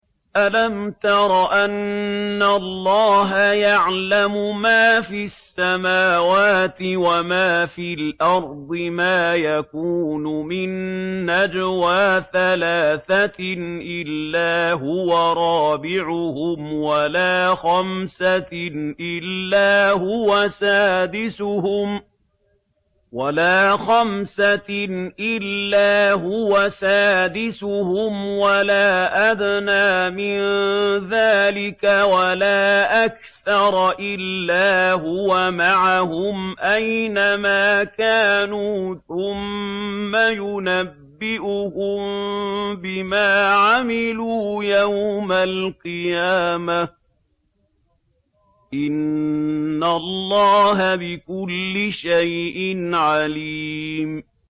أَلَمْ تَرَ أَنَّ اللَّهَ يَعْلَمُ مَا فِي السَّمَاوَاتِ وَمَا فِي الْأَرْضِ ۖ مَا يَكُونُ مِن نَّجْوَىٰ ثَلَاثَةٍ إِلَّا هُوَ رَابِعُهُمْ وَلَا خَمْسَةٍ إِلَّا هُوَ سَادِسُهُمْ وَلَا أَدْنَىٰ مِن ذَٰلِكَ وَلَا أَكْثَرَ إِلَّا هُوَ مَعَهُمْ أَيْنَ مَا كَانُوا ۖ ثُمَّ يُنَبِّئُهُم بِمَا عَمِلُوا يَوْمَ الْقِيَامَةِ ۚ إِنَّ اللَّهَ بِكُلِّ شَيْءٍ عَلِيمٌ